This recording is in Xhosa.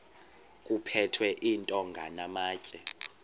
kuphethwe iintonga namatye